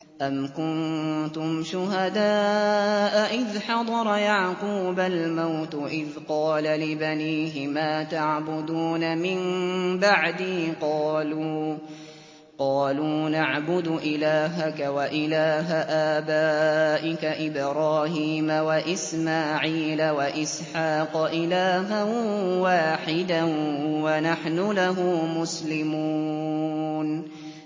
أَمْ كُنتُمْ شُهَدَاءَ إِذْ حَضَرَ يَعْقُوبَ الْمَوْتُ إِذْ قَالَ لِبَنِيهِ مَا تَعْبُدُونَ مِن بَعْدِي قَالُوا نَعْبُدُ إِلَٰهَكَ وَإِلَٰهَ آبَائِكَ إِبْرَاهِيمَ وَإِسْمَاعِيلَ وَإِسْحَاقَ إِلَٰهًا وَاحِدًا وَنَحْنُ لَهُ مُسْلِمُونَ